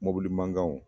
Mɔbili mankanw